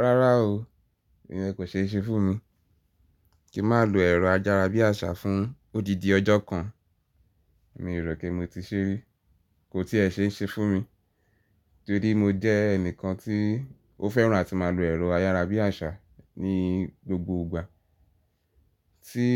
Rárá o, ìyẹn kò ṣe é ṣe fún mi kí mà lò ẹ̀rọ ayárabíàṣá fún odidi ọjọ́ kan. Mi ò rò pé mo ti ṣe rí, kò tí ì ẹ ṣe ń ṣe fún mi. Torí mo jẹ́ ẹnìkan tí ó fẹ́ràn àti máa lò ẹ̀rọ ayárabíàṣá ní gbogbo ìgbà. Tí